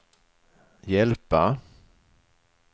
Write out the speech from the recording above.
hjälpa